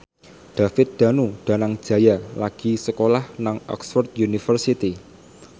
David Danu Danangjaya lagi sekolah nang Oxford university